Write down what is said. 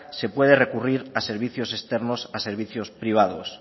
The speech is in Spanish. se puede recurrir a servicios externos a servicios privados